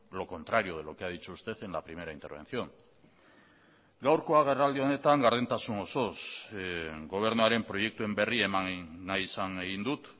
lo contrario de lo que ha dicho usted en la primera intervención gaurko agerraldi honetan gardentasun osoz gobernuaren proiektuen berri eman nahi izan egin dut